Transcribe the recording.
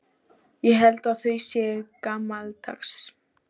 Ég held að þau séu gamaldags.